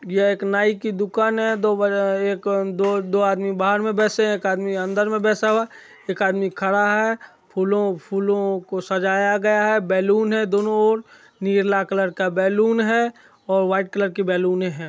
यह एक नाई की दुकान है दो दो एक दो आदमी बाहर मे बेसे हैं एक आदमी अंदर में बेसा हुआ है एक आदमी खड़ा हैंफूलों-फूलों को सजाया गया है बेलून है दोनों और नीला कलर का बलून हे और व्हाइट कलर की बेलूने हेय |